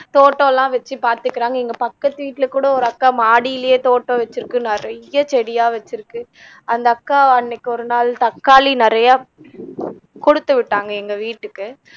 தோட்டம்லாம் வச்சு பாத்துக்குறாங்க எங்க பக்கத்து வீட்டுல கூட ஒரு அக்கா மாடியிலயே தோட்டம் வச்சிருக்கு நிறையா செடியா வச்சிருக்கு அந்த அக்கா அன்னக்கி ஒருநாள் தக்காளி நிறையா கொடுத்துவிட்டாங்க எங்க வீட்டுக்கு